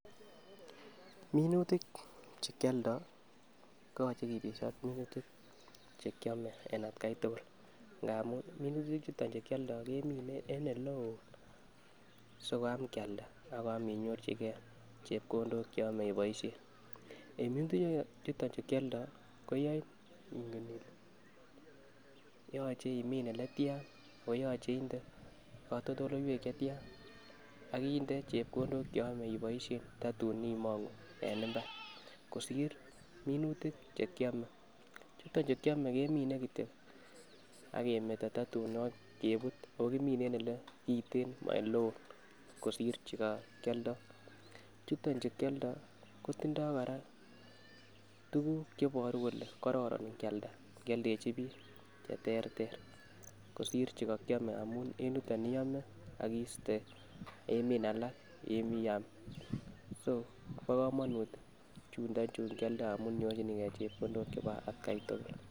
Minutik che kioldo ko yoche kibesho ak minutik chekiome en atgai tukul, ngamun minutik chuton kioldo kemine en oleo si koam kialda ak koam inyorchigee chepkondok cheyome iboishen. En minutik chuton chu kioldo koyoin inken ile yoche imii ole tyan ako yoche inde kotoldoleiwek chetian ak inde chekondok cheyome iboishen totun imongu en imbar kosir munutik chu kiome, chuton chu kiome kemine kityo ak kemeto tatun koit kebut okimine en ole kiten mo oleo kosir chukokioldo. Chuton chukioldo kotindo koraa tukuk cheiboru kole kororon ikialda, ikioldeji bik cheterter kosir chukokiome amun en yuton iome ak iste imin alak iam so bo komonut chundo chunkioldo amun inyorchinii gee chekondok en atgai tukul.